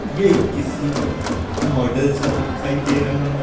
ये किसी मॉडल सा दिखाई दे रहा है।